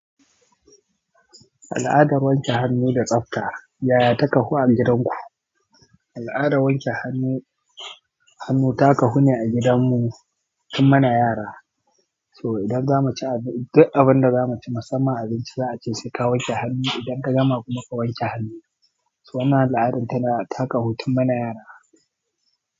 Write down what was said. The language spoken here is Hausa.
Al'adar wanke hannu da tsabta, yaya taka ku a gidan ku? Al'adar wanke hannu, hannu ta kahu ne a gidan mu tun muna yara. So idan zamu ci abin da za mu ci, musamman abinci za'ace saika wanke hannu idan ka gama kuma ka wanke hannu. So wannan al'adar ta kahu tun mana yara.